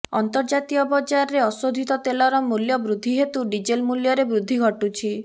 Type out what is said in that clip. ଅର୍ନ୍ତଜାତୀୟ ବଜାରରେ ଅଶୋଧିତ ତେଲର ମୂଲ୍ୟ ବୃଦ୍ଧି ହେତୁ ଡିଜେଲ ମୂଲ୍ୟରେ ବୃଦ୍ଧି ଘଟୁଛି